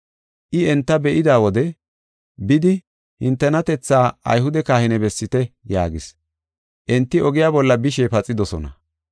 I enta be7ida wode, “Bidi hintenatethaa Ayhude kahine bessite” yaagis. Enti ogiya bolla bishe paxidosona.